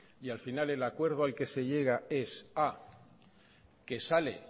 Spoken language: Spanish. y al final el acuerdo al que se llega es a que sale